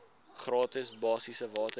gratis basiese water